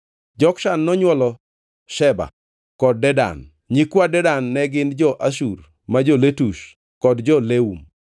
Jokshan nonywolo Sheba kod Dedan; nyikwa Dedan ne gin jo-Ashur, jo-Letush kod jo-Leum.